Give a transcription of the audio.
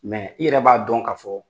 i yɛrɛ b'a dɔn ka fɔɔ